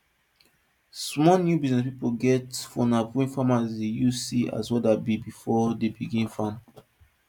small new business pipo get phone app wey farmers dey use see as weather be before dey begin farm